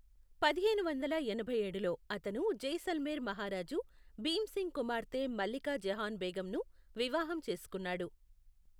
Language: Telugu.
పదిహేను వందల ఎనభై ఏడులో, అతను జైసల్మేర్ మహారాజు భీమ్ సింగ్ కుమార్తె మల్లికా జహాన్ బేగంను వివాహం చేసుకున్నాడు.